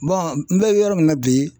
n bɛ yɔrɔ min na bi